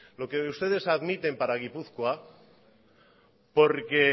lo que ustedes admiten para gipuzkoa porque